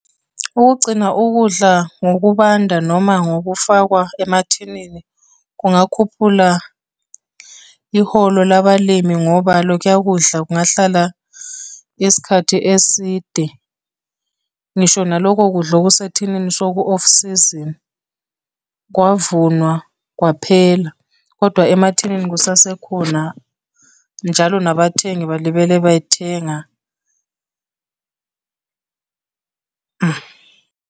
Ukugcina ukudla ngokubanda noma ngokufakwa emathinini kungakhuphula iholo labalimi ngoba lokhuya kudla kungahlala isikhathi eside. Ngisho naloko kudla okusethinini soku-off season, kwavunwa kwaphela, kodwa emathinini kusasekhona. Njalo nabathengi balibele beyithenga .